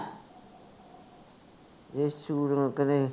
ਯਸ਼ੁ ਕਰੇ